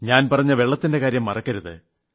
ഞാൻ പറഞ്ഞ ജലത്തിന്റെ കാര്യം മറക്കരുത്